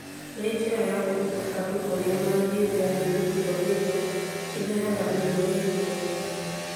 na njĩra ya kũruta andũ ũrĩa mangĩĩthema mĩtugo ĩrĩa ĩrehaga mĩrimũ ya ihinda iraya.